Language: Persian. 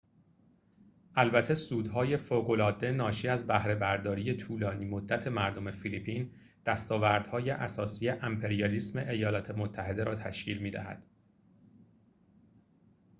البته سودهای فوق العاده ناشی از بهره برداری طولانی مدت مردم فیلیپین دستاوردهای اساسی امپریالیسم ایالات متحده را تشکیل می دهد